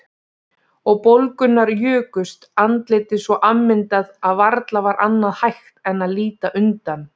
Og bólgurnar jukust, andlitið svo afmyndað að varla var annað hægt en að líta undan.